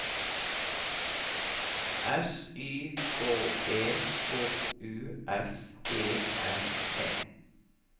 S Y K E H U S E N E